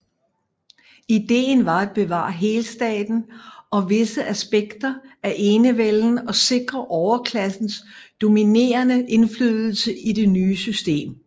Ideen var at bevare helstaten og visse aspekter af enevælden og sikre overklassens dominerende indflydelse i det nye system